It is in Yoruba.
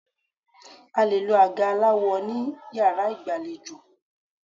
A lè lo àga aláwọ ní Yàrá ìgbàlejò.